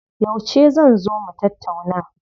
Yauce zan zo mu tattauna?